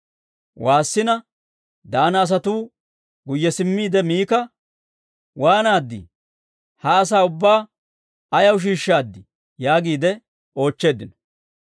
Waassina, Daana asatuu guyye simmiide Mika, «Waanaaddii? Ha asaa ubbaa ayaw shiishshaaddii?» yaagiide oochcheeddino.